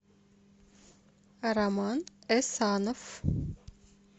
роман эсанов